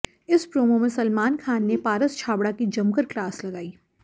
इस प्रोमो में सलमान खान ने पारस छाबड़ा की जमकर क्लास लगाई